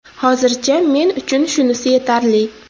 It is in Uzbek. Hozircha men uchun shunisi yetarli.